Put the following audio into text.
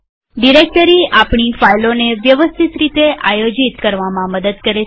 directory આપણી ફાઈલોને વ્યવસ્થિત રીતે આયોજિતઓર્ગનાઈઝ કરવામાં મદદ કરે છે